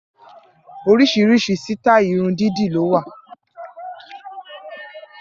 Orísìírísìí sítáì irun dídì ló wà